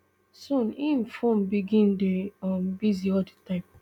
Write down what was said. soon im phone begin dey um busy all di time